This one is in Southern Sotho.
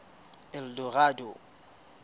eldorado